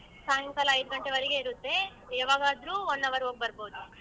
ಸಾಯಂಕಾಲ ಐದ್ ಗಂಟೆವರೆಗೆ ಇರುತ್ತೆ. ಯವಾಗಾದ್ರೂ one hour ಹೋಗ್ ಬರ್ಬೋದು.